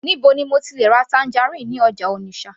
níbo ni mo ti le ra tangerine ní ọjà Onitsha